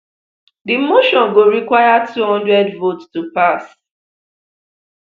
di motion go require two hundred votes to pass